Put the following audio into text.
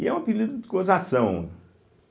E é um apelido de gozação.